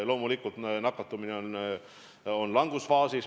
Loomulikult nakatumine on langusfaasis.